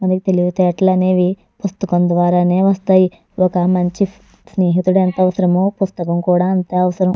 మనకి తెలివితేటలు అనేవి పుస్తకం ద్వారానే వస్తాయి ఒక మంచి స్నేహితుడు ఎంత అవసరమో పుస్తకం కూడా అంతే అవసరం.